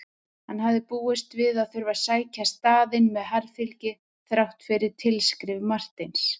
Hann hafði búist við að þurfa að sækja staðinn með harðfylgi þrátt fyrir tilskrif Marteins.